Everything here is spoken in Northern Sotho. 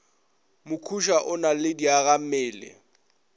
mokhuša o na le diagammele